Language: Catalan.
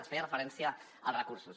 es feia referència als recursos